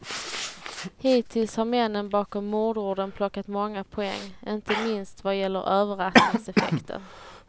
Hittills har männen bakom mordordern plockat många poäng, inte minst vad gäller överraskningseffekten.